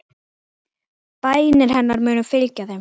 Bænir hennar munu fylgja þeim.